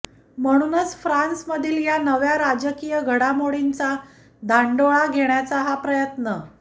म्हणूनच फ्रान्समधील या नव्या राजकीय घडामोडींचा धांडोळा घेण्याचा हा प्रयत्न